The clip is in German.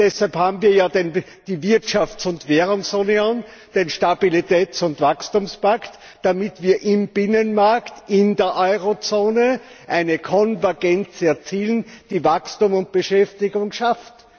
Deshalb haben wir ja die Wirtschafts und Währungsunion, den Stabilitäts und Wachstumspakt, damit wir im Binnenmarkt, in der Euro Zone eine Konvergenz erzielen, die Wachstum und Beschäftigung schafft.